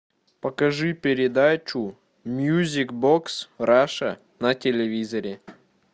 покажи передачу мьюзик бокс раша на телевизоре